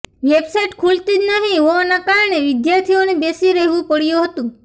website ખૂલતી જ નહીં હોવાના કારણે વિદ્યાર્થીઓને બેસી રહેવું પડયું હતું